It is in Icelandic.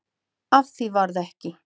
Af því varð ekki.